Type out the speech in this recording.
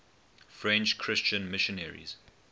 french christian missionaries